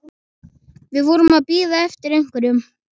Við vorum að bíða eftir einhverju.